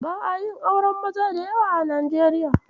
Ba'a yin auren maza da yawa a Najeriya.